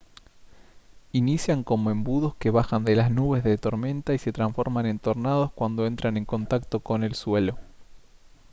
inician como embudos que bajan de las nubes de tormenta y se transforman en tornados cuando entran en contacto con el suelo